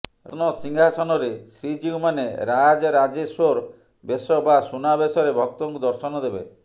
ରତ୍ନ ସିଂହାସନରେ ଶ୍ରୀଜିଉ ମାନେ ରାଜରାଜେଶ୍ୱର ବେଶ ବା ସୁନାବେଶରେ ଭକ୍ତଙ୍କୁ ଦର୍ଶନ ଦେବେ